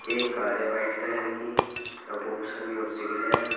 एक कार है white colour की और बहुत सारी मोटरसाइकिल है।